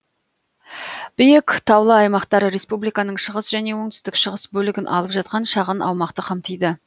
биік таулы аймактар республиканың шығыс және оңтүстік шығыс бөлігін алып жатқан шағын аумақты қамтиды